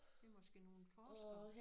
Det måske nogle forskere